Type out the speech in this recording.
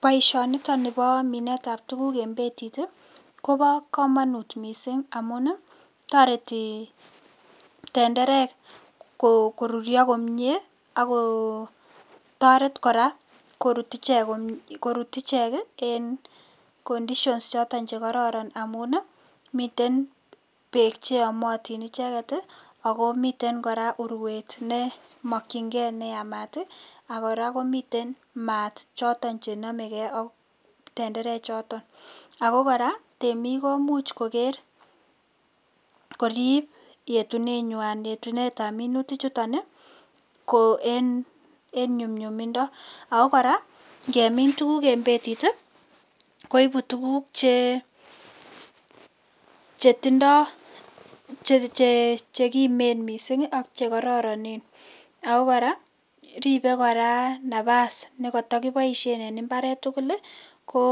Baishoni niton Nebo minet ab tuguk en betit Koba kamanut mising amun tareti tenderek korurio komie ako tareti koraa korut iche komie en condition choton Che koron amun miten bek cheyomotin icheket ako miten koraa urwet nemakinigei neyamat akoraa komiten mat choton chenamegei AK tenderek Chiton ako koraa temik komuch Koger koribyetunenywan ab minutik chuton ko en nyumnyumindo koraa ngemin tuguk en betit. Koibu tuguk Che tindoi anan chekimen ako koroiton mising akokoraa Ribe koraa nabas nekatakibaishen en imbaret tugul ko